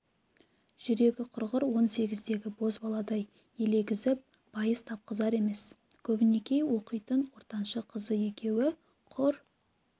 жүрегі құрғыр он сегіздегі бозбаладай елегізіп байыз тапқызар емес көбінекей оқитын ортаншы қызы екеуі құр